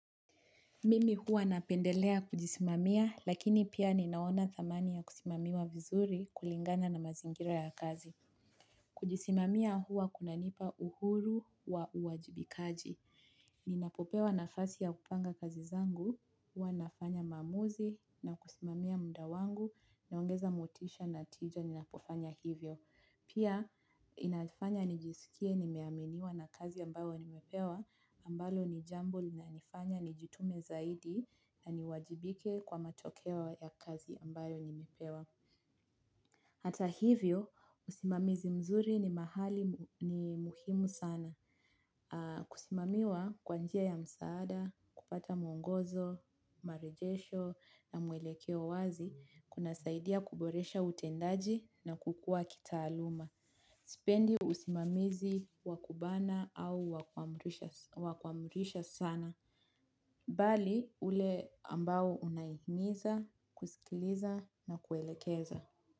Mimi huwa napendelea kujisimamia, lakini pia ninaona thamani ya kusimamiwa vizuri kulingana na mazingira ya kazi. Kujisimamia huwa kuna nipa uhuru wa uwajibikaji. Ninapopewa nafasi ya kupanga kazi zangu, huwa nafanya maamuzi, na kusimamiya mda wangu, naongeza motisha na tija ninapofanya hivyo. Pia, inafanya nijisikie nimeaminiwa na kazi ambayo nimepewa ambalo ni jambo linanifanya nijitume zaidi na niwajibike kwa matokeo ya kazi ambayo nimepewa. Hata hivyo, usimamizi mzuri ni mahali ni muhimu sana. Kusimamiwa kwa njia ya msaada, kupata mwongozo, marejesho na mwelekeo wazi kunasaidia kuboresha utendaji na kukua kitaaluma. Sipendi usimamizi wa kubana au wa kuamrisha sana. Bali ule ambao unahimiza, kusikiliza na kuelekeza.